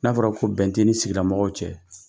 N'a fɔra ko bɛn tɛ e ni sigida mɔgɔw cɛ.